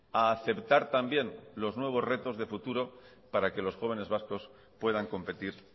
a aceptar también los nuevos retos de futuro para que los jóvenes vascos puedan competir